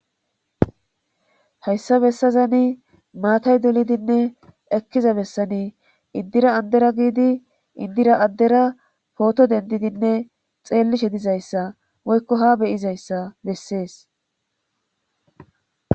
Hayssa bessazani maatay dulidinne ekkiza bessani iddira andera giidi indira addera pooto dendidinne xeellishe dizayssa woykko ha beyizayssa bessees